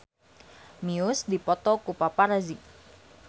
Muse dipoto ku paparazi